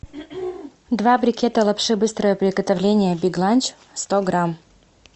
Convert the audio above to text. два брикета лапши быстрого приготовления биг ланч сто грамм